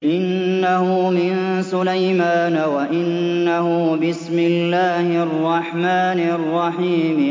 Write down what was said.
إِنَّهُ مِن سُلَيْمَانَ وَإِنَّهُ بِسْمِ اللَّهِ الرَّحْمَٰنِ الرَّحِيمِ